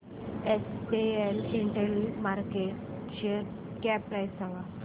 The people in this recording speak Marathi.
एसपीएस इंटेल शेअरची मार्केट कॅप प्राइस सांगा